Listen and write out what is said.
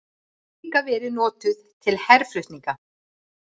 Þá hefur hún líka verið notuð til herflutninga.